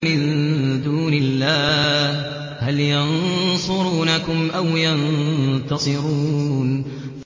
مِن دُونِ اللَّهِ هَلْ يَنصُرُونَكُمْ أَوْ يَنتَصِرُونَ